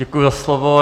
Děkuji za slovo.